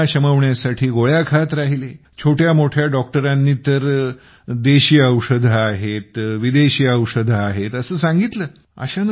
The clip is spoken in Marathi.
वेदना शमवण्यासाठी गोळ्या खात राहिले छोट्यामोठ्या डॉक्टरांनी तर देशी औषधे आहेत विदेशी औषधे आहेत असं सांगितलं